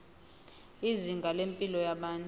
izinga lempilo yabantu